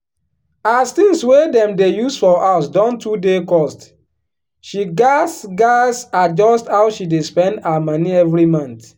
as things wey dem dey use for house don too dey cost she gats gats adjust how she dey spend her moni every month.